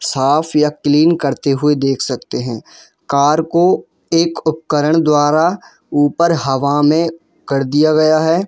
साफ या क्लीन करते हुए देख सकते हैं कार को उपकरण द्वारा ऊपर हवा में कर दिया गया है।